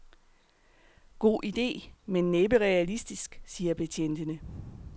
God ide, men næppe realistisk, siger betjentene.